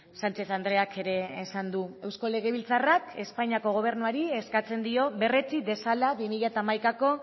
sánchez andreak ere esan du eusko legebiltzarrak espainiako gobernuari eskatzen dio berretsi dezala bi mila hamaikako